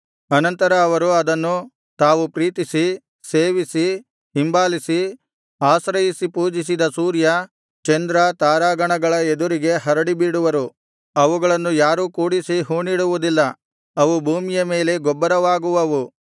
ಅನಂತರ ಅವರು ಅದನ್ನು ತಾವು ಪ್ರೀತಿಸಿ ಸೇವಿಸಿ ಹಿಂಬಾಲಿಸಿ ಆಶ್ರಯಿಸಿ ಪೂಜಿಸಿದ ಸೂರ್ಯ ಚಂದ್ರ ತಾರಾಗಣಗಳ ಎದುರಿಗೆ ಹರಡಿಬಿಡುವರು ಅವುಗಳನ್ನು ಯಾರೂ ಕೂಡಿಸಿ ಹೂಣಿಡುವುದಿಲ್ಲ ಅವು ಭೂಮಿಯ ಮೇಲೆ ಗೊಬ್ಬರವಾಗುವವು